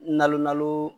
Nalon